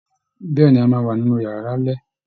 Bẹ́ẹ̀ ni, a máa wà nínú yàrá lálẹ́